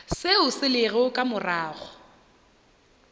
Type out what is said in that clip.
seo se lego ka morago